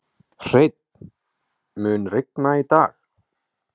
Hreinn, mun rigna í dag?